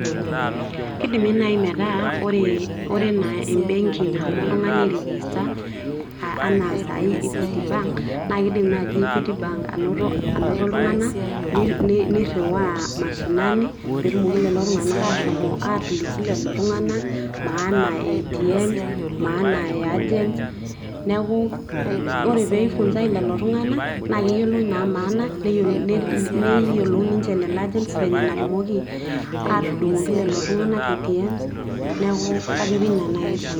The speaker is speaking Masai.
kidimi naaji metaa ore anaa ebenki naomo oltung'ani ai register anaa sai equity bank. naa kidim naji equity bank anoto ltunganak niriwaa mashinani, pee etumoki lelo tunganak ashomo aatoliki lelo tunganak, maana e ATMs maana e agents, neku ore pee eifunsae iltunganak naa keyiolou maana, netumoki ninche lelo agents aatudungoki iltungana ATMs neeku kajo keina naaji esidai.